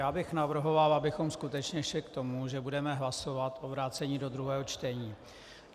Já bych navrhoval, abychom skutečně šli k tomu, že budeme hlasovat o vrácení do druhého čtení.